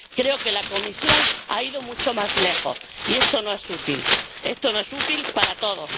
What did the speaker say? Creo que la Comisión ha ido mucho más lejos, y esto no es útil, esto no es útil para todos.